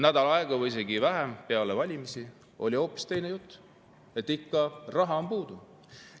Nädal aega või isegi vähem pärast valimisi oli hoopis teine jutt: siiski raha on puudu.